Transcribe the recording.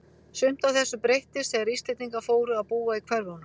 Sumt af þessu breyttist þegar Íslendingar fóru að búa í hverfunum.